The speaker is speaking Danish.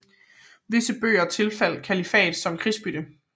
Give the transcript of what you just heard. Visse bøger tilfaldt kalifatet som krigsbytte